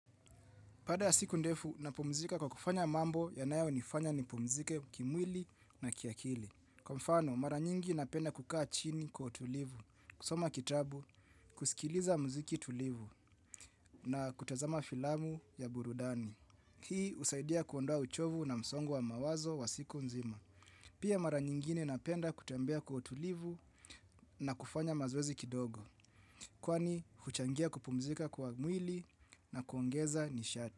Baada ya siku ndefu, napumzika kwa kufanya mambo yanayonifanya nipumzike kimwili na kiakili. Kwa mfano, mara nyingi napenda kukaa chini kwa utulivu. Kusoma kitabu, kusikiliza mziki tulivu na kutazama filamu ya burudani. Hii husaidia kuondoa uchovu na msongo wa mawazo wa siku nzima. Pia mara nyingine napenda kutembea kwa utulivu na kufanya mazoezi kidogo. Kwani, huchangia kupumzika kwa mwili na kuongeza nisha.